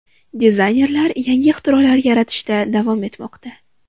Dizaynerlar yangi ixtirolar yaratishda davom etmoqda.